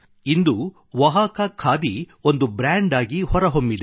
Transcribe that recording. ಇಂದು ಒಹಾಕಾ ಖಾದಿ ಒಂದು ಬ್ರ್ಯಾಂಡ್ ಆಗಿ ಹೊರಹೊಮ್ಮಿದೆ